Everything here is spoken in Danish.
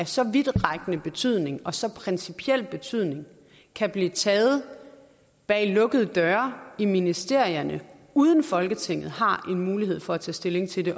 så vidtrækkende betydning og så principiel betydning kan blive taget bag lukkede døre i ministerierne uden at folketinget har en mulighed for at tage stilling til det